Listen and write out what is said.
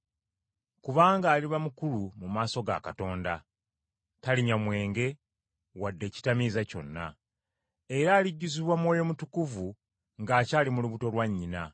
Kubanga aliba mukulu mu maaso ga Katonda. Talinywa mwenge wadde ekitamiiza kyonna. Era alijjuzibwa Mwoyo Mutukuvu ng’akyali mu lubuto lwa nnyina.